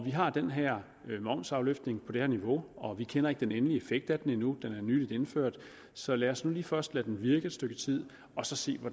vi har den her momsafløftning på det her niveau vi kender ikke den endelige effekt af den endnu den er nylig indført så lad os nu lige først lade den virke et stykke tid og så se